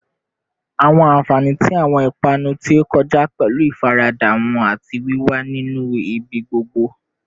Awọn anfani ti awọn ipanu ti o kọja pẹlu ifarada wọn ati wiwa ni ibigbogbo